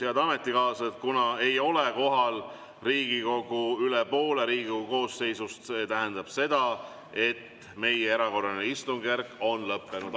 Head ametikaaslased, kuna ei ole kohal üle poole Riigikogu koosseisust, siis see tähendab seda, et meie erakorraline istungjärk on lõppenud.